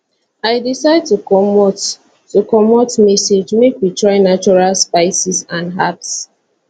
i decide to comot to comot msg make we try natural spices and herbs